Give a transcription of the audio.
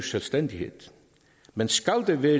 selvstændighed men skal der være